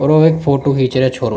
और ओ एक फोटो खींच रो है छोरो।